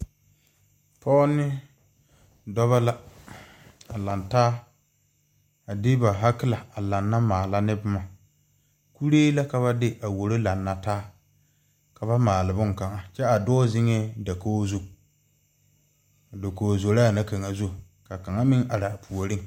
Pɔge ne dɔba la a laŋ taa de ba haakelɛ a lana maala boma kuree la ka ba de wooro lana taa ka ba maale boŋ kaŋa kyɛ dɔɔ zeŋ dakogi zu a dakogi zoraa na kaŋa zu ka kaŋa meŋ are a puoriŋ.